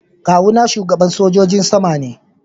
Kawu na shugaban sojin sama ne.